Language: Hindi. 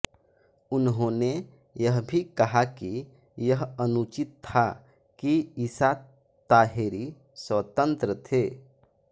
उन्होंने यह भी कहा कि यह अनुचित था कि ईसा ताहेरी स्वतंत्र थे